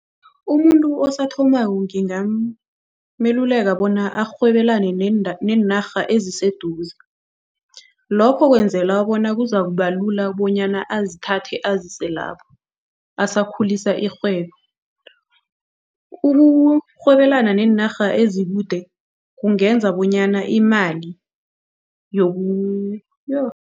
Umuntu sathomako ngingameluleka bona arhwebelane neenarha eziseduze. Lokho kwenzela bona kuzakubalula bonyana azithathe azise lapho, asakhulisa irhwebo. Ukurhwebelana neenarha ezikude kungenza bonyana imali yoh.